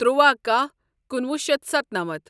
تُرٛواہ کاہ کُنوُہ شیتھ ستَنَمتھ